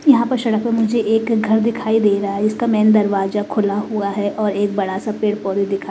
यहाँ पर शड़क में मुझे एक घर दिखाई दे रहा है इसका मेन दरवाजा खुला हुआ है और एक बड़ा सा पेड़ दिखा --